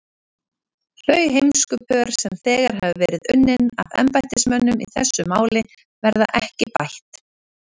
Þau heimskupör, sem þegar hafa verið unnin af embættismönnum í þessu máli, verða ekki bætt.